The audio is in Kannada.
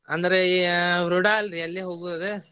ಅಂದ್ರೆ ಅಯ್ಯ ರುಡಾ ಅಲ್ರಿ ಅಲ್ಲೆ ಹೋಗೋದ್.